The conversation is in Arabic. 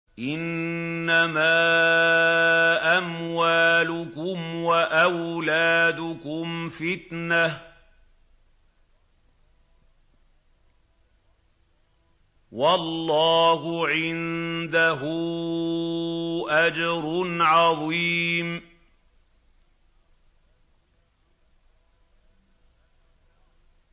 إِنَّمَا أَمْوَالُكُمْ وَأَوْلَادُكُمْ فِتْنَةٌ ۚ وَاللَّهُ عِندَهُ أَجْرٌ عَظِيمٌ